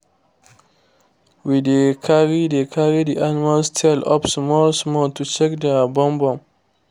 we dey carry dey carry the animal tail up small small to check their bum bum